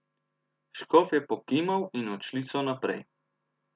Škof je pokimal in odšli so naprej.